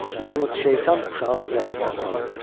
Yalnız şeytan uşağın ürəyini satın ala bilər.